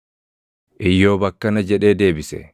Iyyoob akkana jedhee deebise: